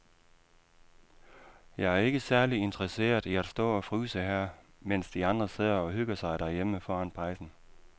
Jeg er ikke særlig interesseret i at stå og fryse her, mens de andre sidder og hygger sig derhjemme foran pejsen.